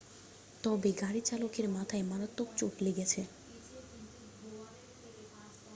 তবে গাড়ির চালকের মাথায় মারাত্মক চোট লেগেছে